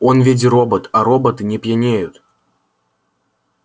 он ведь робот а роботы не пьянеют